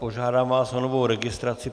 Požádám vás o novou registraci.